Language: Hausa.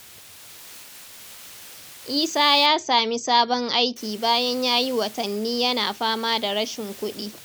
Isa ya sami sabon aiki bayan ya yi watanni yana fama da rashin kudi.